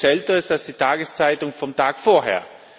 Es gibt nichts Älteres als die Tageszeitung vom Tag vorher.